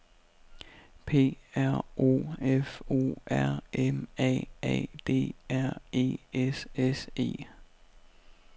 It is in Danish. P R O F O R M A A D R E S S E